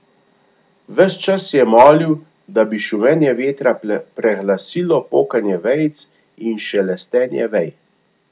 Ves čas je molil, da bi šumenje vetra preglasilo pokanje vejic in šelestenje vej.